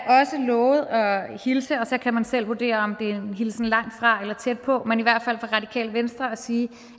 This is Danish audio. lovet at hilse og så kan man selv vurdere om det er en hilsen langt fra eller tæt på fra radikale venstre og sige